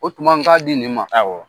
O tuma n ka di nin ma, awɔ.